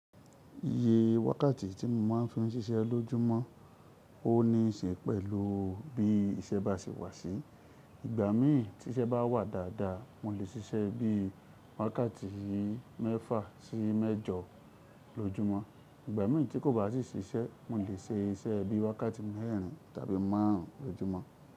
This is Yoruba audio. Iye wákàtí tí mo má ń fi ń siṣẹ́ lójúmọ́ ó níṣe pẹ̀lú bí iṣẹ́ bá si wà sí. Ìgbà mìí tí iṣẹ́ bá wà dáadáa, mo lè siṣẹ́ bí i wákàtí mẹ́fà sí mẹ́jọ lójúmọ́. Ìgbà mìí tí kò bá sì siṣẹ́, mo lè ṣe iṣẹ́ bí i wákàtí mẹ́rin tàbí márùn ún lójúmọ́.